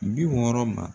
Bi wɔɔrɔ ma